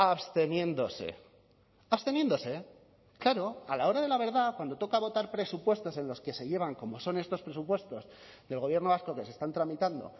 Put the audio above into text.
absteniéndose absteniéndose claro a la hora de la verdad cuando toca votar presupuestos en los que se llevan como son estos presupuestos del gobierno vasco que se están tramitando